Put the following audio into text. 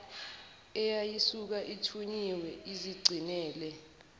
eyayisuke ithunyiwe izigcinele